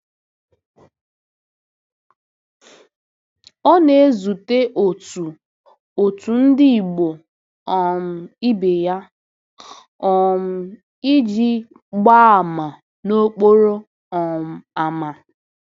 Ọ na-ezute otu otu ndị Igbo um ibe ya um iji gbaa àmà n’okporo um ámá.